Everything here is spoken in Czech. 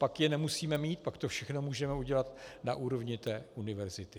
pak je nemusíme mít, pak to všechno můžeme udělat na úrovni té univerzity.